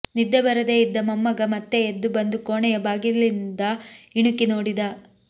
ನಿದ್ದೆ ಬರದೆ ಇದ್ದ ಮೊಮ್ಮಗ ಮತ್ತೆ ಎದ್ದು ಬಂದು ಕೋಣೆಯ ಬಾಗಿಲಿಂದ ಇಣುಕಿ ನೋಡಿದ